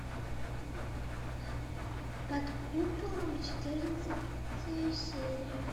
под куполом четырнадцатая серия